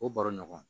O baro ɲɔgɔn